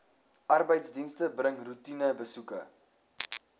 arbeidsdienste bring roetinebesoeke